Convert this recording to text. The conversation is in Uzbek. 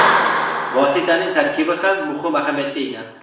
Vositaning tarkibi ham muhim ahamiyatga ega.